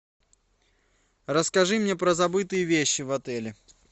расскажи мне про забытые вещи в отеле